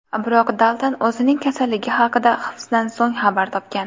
Biroq Dalton o‘zining kasalligi haqida hibsdan so‘ng xabar topgan.